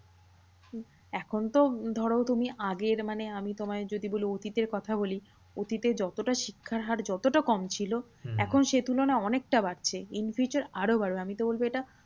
হম এখন তো ধরো তুমি আগের মানে আমি তোমায় যদি অতীতের কথা বলি, অতীতে যতটা শিক্ষার হার যতটা কম ছিল এখন সেই তুলনায় অনেকটা বাড়ছে। in future আরোও বাড়বে। আমিতো বলবো এটা